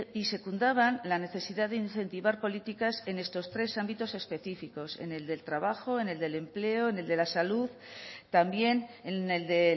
y secundaban la necesidad de incentivar políticas en estos tres ámbitos específicos en el del trabajo en el del empleo en el de la salud también en el de